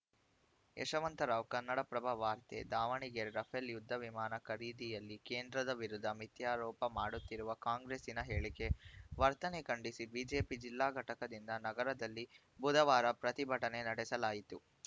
ಯಶವಂತ ರಾವ್‌ ಕನ್ನಡಪ್ರಭ ವಾರ್ತೆ ದಾವಣಗೆರೆ ರಫೇಲ್‌ ಯುದ್ಧ ವಿಮಾನ ಖರೀದಿಯಲ್ಲಿ ಕೇಂದ್ರದ ವಿರುದ್ಧ ಮಿಥ್ಯಾರೋಪ ಮಾಡುತ್ತಿರುವ ಕಾಂಗ್ರೆಸ್ಸಿನ ಹೇಳಿಕೆ ವರ್ತನೆ ಖಂಡಿಸಿ ಬಿಜೆಪಿ ಜಿಲ್ಲಾ ಘಟಕದಿಂದ ನಗರದಲ್ಲಿ ಬುಧವಾರ ಪ್ರತಿಭಟನೆ ನಡೆಸಲಾಯಿತು